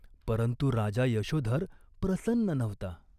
परंतु राजा यशोधर प्रसन्न नव्हता.